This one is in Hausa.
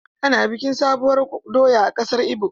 Ana bikin sabuwur doya a kasar ibo.